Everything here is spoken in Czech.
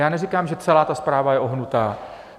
Já neříkám, že celá ta zpráva je ohnutá.